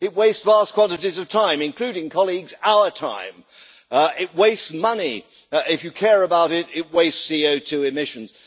it wastes vast quantities of time including, colleagues, our time. It wastes money, and if you care about it, it wastes CO2 emissions.